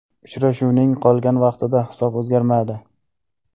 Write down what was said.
Uchrashuvning qolgan vaqtida hisob o‘zgarmadi.